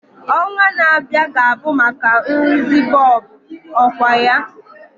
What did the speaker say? Ọnwa na-abịa ga-abụ maka nrụzi bọlbụ, ọkwa ya?